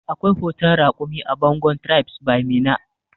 Akwai hoton raƙumi a bangon tribes by meena